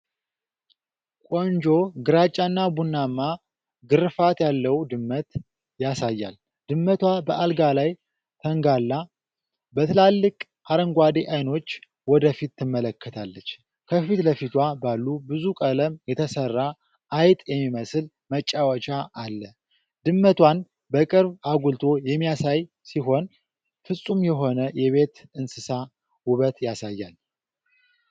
ቆንጆ ግራጫና ቡናማ ግርፋት ያለው ድመት ያሳያል። ድመቷ በአልጋ ላይ ተንጋላ፤ በትላልቅ አረንጓዴ ዓይኖች ወደፊት ትመለከታለች። ከፊት ለፊቷ ባለ ብዙ ቀለም የተሠራ አይጥ የሚመስል መጫወቻ አለ። ድመቷን በቅርብ አጉልቶ የሚያሳይ ሲሆን፤ ፍጹም የሆነ የቤት እንስሳ ውበት ያሳያል።